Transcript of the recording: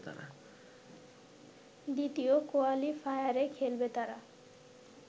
দ্বিতীয় কোয়ালিফায়ারে খেলবে তারা